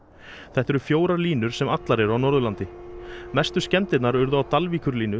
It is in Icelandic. þetta eru fjórar línur sem allar eru á Norðurlandi mestu skemmdirnar urðu á